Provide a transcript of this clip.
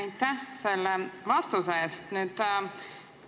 Aitäh selle vastuse eest!